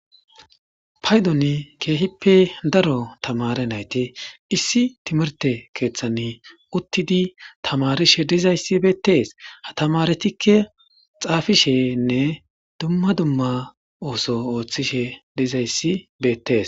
paydon keehippe daro tamare nayti issi timirte keeththan uttidi tamarishe dizayssi beettees ha tamaretikke xaafishenne dumma dumma ooso ooththishe dizayssi beettees